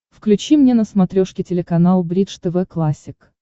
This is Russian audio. включи мне на смотрешке телеканал бридж тв классик